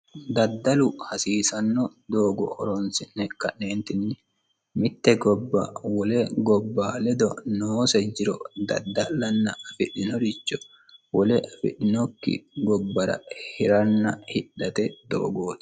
daddalu hasiisanno doogo horonsi'ne ka'neentinni mitte gobba wole gobba ledo noose jiro daddallanna afidhinoricho wole afidhinokki gobbara hiranna hidhate doogooti